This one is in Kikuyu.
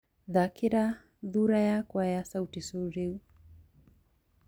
thakĩra thũra yakũ rwa sauti sol riu